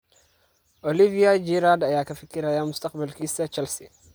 (ESPN) Olivier Giroud ayaa ka fikiraya mustaqbalkiisa Chelsea.